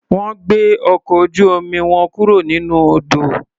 Wọ́n gbé ọkọ̀ ojú-omi wọn kúro nínú odò.